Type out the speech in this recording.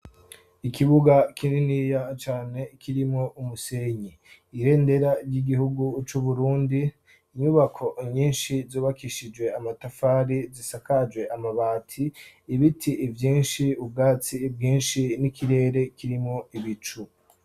Ikibuga kininiya cane kirimo umusenyi ibendera ry'igihugu c'uburundi, inyubako nyinshi zubakishijwe amatafari zisakaje amabati ibiti vyinshi ubwatsi bwinshi n'ikirere kirimwo ibicu.